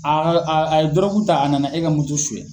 a ye dɔrɔgu ta a nana e ka moto suɲɛ.